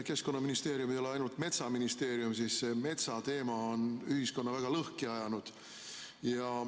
Keskkonnaministeerium ei ole ainult metsaministeerium, aga see metsateema on ühiskonna väga lõhki ajanud.